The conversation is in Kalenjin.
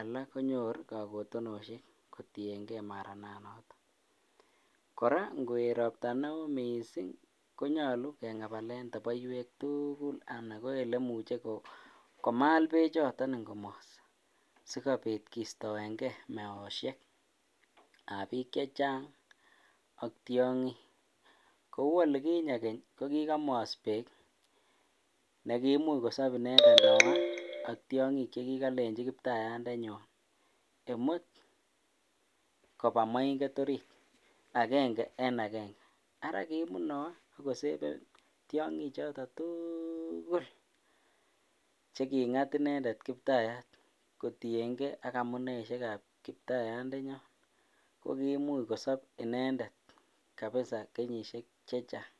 alak konyoru kakotenoshiek kotieng'e marananoton, kora ng'oet robta neoo mising konyolu kengabalen toboiwek tukul anan ko olemuche komal bechoton ing'omos sikobit kistoeng'e meoshekab biik chechang ak tiong'ik, kouu olikinye ko kikomos beek nekimuch kosob inendet Noah ak tiong'ik chekikolenchi kiptayatndenyon imut koba moing'et oriit akeng'a en akeng'e, araa kimut Noah ak koseven tiong'i choton tuukul chekingat inendet kiptayat kotieng'e ak amuneishekab kiptayatndenyon ko kimuch kosob inendet kenyishek chechang.